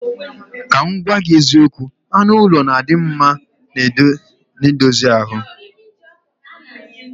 Ka m gwagwagi eziokwu, anu ulo na adimma n edozie ahu.